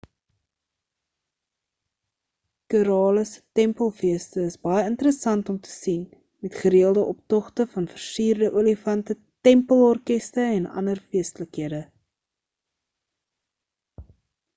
kerala se tempelfeeste is baie interessant om te sien met gereëlde optogte van versierde olifante tempel orkeste en ander feestelikhede